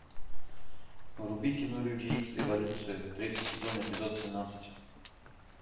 вруби кино люди икс эволюция третий сезон эпизод семнадцать